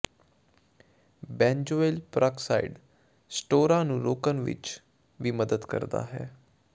benzoyl peroxide ਸਟੋਰਾਂ ਨੂੰ ਰੋਕਣ ਵਿਚ ਵੀ ਮਦਦ ਕਰਦਾ ਹੈ